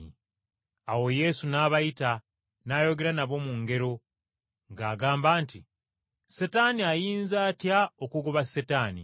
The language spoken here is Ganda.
Awo Yesu n’abayita n’ayogera nabo mu ngero ng’agamba nti, “Setaani ayinza atya okugoba Setaani?